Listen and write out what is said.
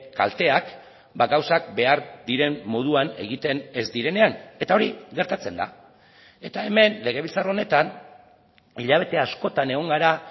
kalteak gauzak behar diren moduan egiten ez direnean eta hori gertatzen da eta hemen legebiltzar honetan hilabete askotan egon gara